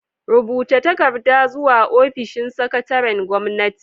Rubuta takarda zuwa ofishin sakataren gwamnati.